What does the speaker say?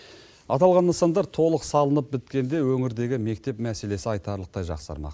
аталған нысандар толық салынып біткенде өңірдегі мектеп мәселесі айтарлықтай жақсармақ